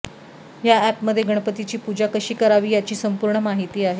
या अॅपमध्ये गणपतीची पूजा कशी करावी याची संपूर्ण माहिती आहे